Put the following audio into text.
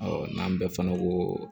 n'an bɛɛ fana ko